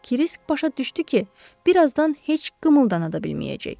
Krisk başa düşdü ki, birazdan heç qımıldana da bilməyəcək.